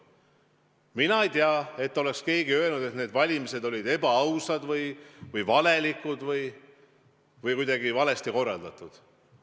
Mina ei tea, et oleks keegi öelnud, et need valimised olid ebaausad või valelikud või kuidagi valesti korraldatud.